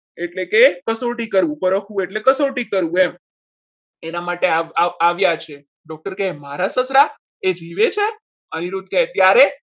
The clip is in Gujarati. એટલે કે કસોટી કરવું પરખવું એટલે કસોટી કરવું એમ એના માટે આવ્યા છે doctor કહે મારા સસરા એ જીવે છે ત્યારે અનિરુદ્ધ કહે ત્યારે